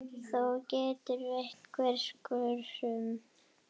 Þó geti verið einhver skörun.